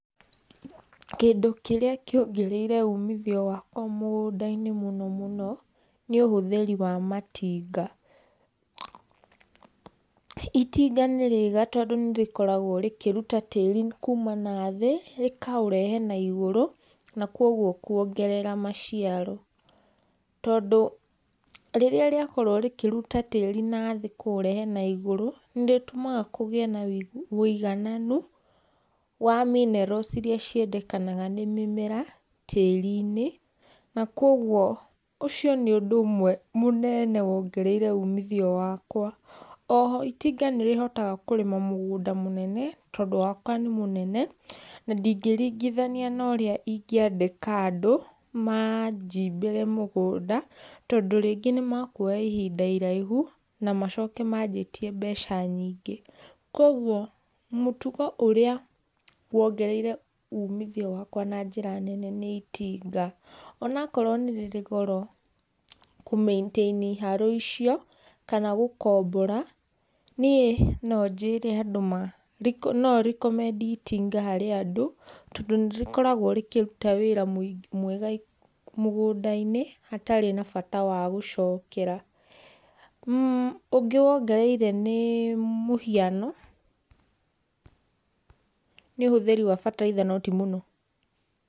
kĩndũ kĩrĩa kĩongereire ũmithio wakwa mugunda-inĩ mũno mũno nĩũhũthĩri wa matinga, itinga nĩriega, tondũ nĩrikoragwo rĩkĩrũta tĩri kũma na thĩ rĩkaũrehe na igũrũ na kogũo kũongerera maciaro. Tondũ rĩrĩa rĩakorwo rĩkĩrũta tĩri na thĩ kũũrehe na igũrũ nĩrĩtũmaga kũgĩe na ũigananu wa minerals iria ciendekanaga nĩ mĩmera tĩri-inĩ na kogwo ũcio nĩ ũndũ ũmwe mũnene wongereire ũmithio wakwa. O ho itinga nĩrĩhotaga kũrĩma mũgũnda mũnene, tondũ wakwa nĩ mũnene na ndĩngĩringithania na ũrĩa ingĩandĩka andũ majimbĩre mũgũnda, tondũ rĩngĩ nĩmekũoya ihinda iraihu na macoke manjĩtie mbeca nyingĩ, kogwo mũtũgo ũrĩa wongereire ũmithio wakwa na njĩra nene nĩ itinga onakorwo nĩ rĩrĩ goro kũ maintain harrow icio kana gũkombora, niĩ nonjĩre andũ ma no recommend harĩ andũ tondũ nĩrĩkoragwo rĩkĩrũta wĩra mwega mũgũnda-inĩ hatarĩ na bata wa gucokera, mmh ũngĩ wongereire nĩ mũhiano nĩ ũhũthĩri wa fertilizer no ti mũno.